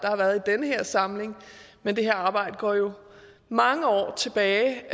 har været i den her samling men det her arbejde går jo mange år tilbage